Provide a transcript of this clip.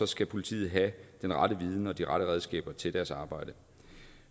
skal politiet have den rette viden og de rette redskaber til deres arbejde